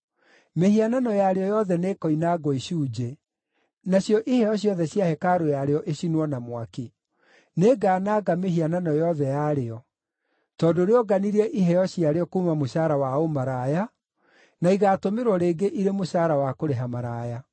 Mĩhianano yarĩo yothe nĩĩkoinangwo icunjĩ; nacio iheo ciothe cia hekarũ yarĩo icinwo na mwaki. Nĩngananga mĩhianano yothe yarĩo. Tondũ rĩonganirie iheo ciarĩo kuuma mũcaara wa ũmaraya, na igaatũmĩrwo rĩngĩ irĩ mũcaara wa kũrĩha maraya.”